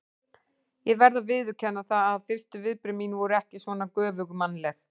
Ég verð að viðurkenna það að fyrstu viðbrögð mín voru ekki svona göfugmannleg.